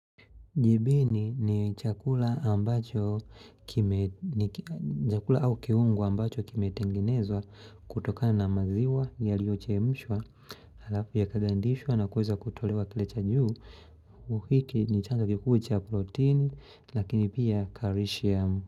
Jibini ni chakula ambacho kime, ni chakula au kiungo ambacho kime tengenezwa kutokana na maziwa ya lioche mshwa, halafu ya kagandishwa na kuweza kutolewa kilecha juu, uhiki ni chanda kikuu cha protein, lakini pia karishiamu.